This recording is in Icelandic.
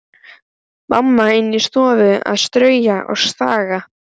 Mamma inni í stofu að strauja og staga.